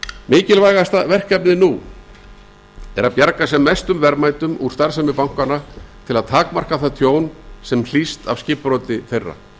mikilvægasta verkefnið nú er að bjarga sem mestum verðmætum úr starfsemi bankanna til að takmarka það tjón sem hlýst af skipbroti þeirra